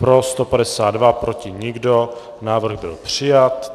Pro 152, proti nikdo, návrh byl přijat.